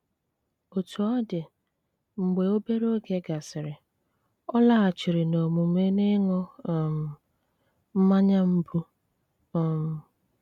Òtú ọ̀ dị, mgbe obere oge gàsịrị, ọ̀ làghàchìrì n'òmùmè ịṅụ̀ um mmànyà mbù. um